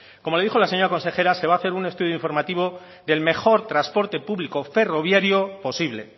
como dijo la señora consejera se va a hacer un estudio informativo del mejor transporte público ferroviario posible